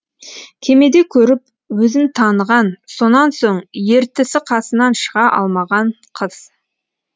кемеде көріп өзін таныған сонан соң ертісі қасынан шыға алмаған қыз